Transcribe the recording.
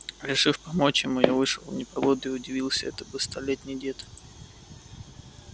решив помочь ему я вышел в непогоду и удивился это бы столетний дед